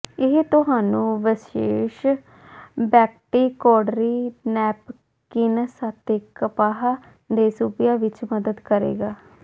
ਇਹ ਤੁਹਾਨੂੰ ਵਿਸ਼ੇਸ਼ ਬੈਕਟੀਕੋਡਰੀ ਨੈਪਕਿਨਸ ਅਤੇ ਕਪਾਹ ਦੇ ਸੂਬਿਆਂ ਵਿਚ ਮਦਦ ਕਰੇਗਾ